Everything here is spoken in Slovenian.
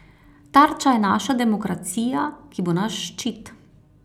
Tarča je naša demokracija, ki bo naš ščit.